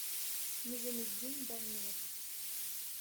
низаметдин данилов